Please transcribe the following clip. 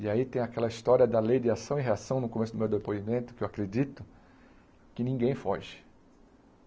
E aí tem aquela história da lei de ação e reação no começo do meu depoimento, que eu acredito, que ninguém foge.